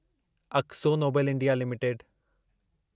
Akzo Nobel India limited